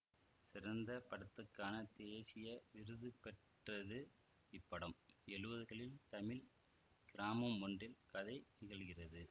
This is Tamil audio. சிறந்த படத்துக்கான தேசிய விருதுபெற்றது இப்படம் எழுவதுகளின் தமிழ் கிராமம் ஒன்றில் கதை நிகழ்கிறது